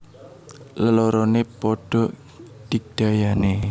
Leloroné padha digdayané